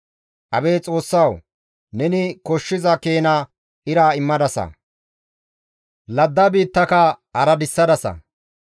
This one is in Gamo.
Abeet Xoossawu! Neni koshshiza keena ira immadasa; ladda biittaaka araddisadasa.